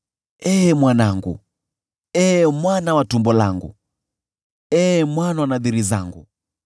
“Ee mwanangu, ee mwana wa tumbo langu, ee mwana wa nadhiri zangu,